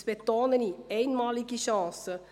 Ich betone: einmalige Chancen.